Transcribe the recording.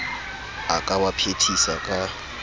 a ka wa phethisa ka